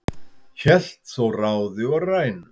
hélt þó ráði og rænu